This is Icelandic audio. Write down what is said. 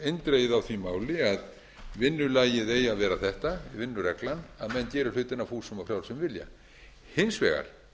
eindregið á því máli að vinnulagið eigi að vera þetta vinnureglan að menn geri hlutina af fúsum og frjálsum vilja hins vegar